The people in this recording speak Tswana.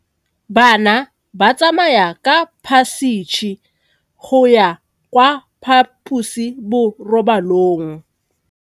Bana ba tsamaya ka phašitshe go ya kwa phaposiborobalong.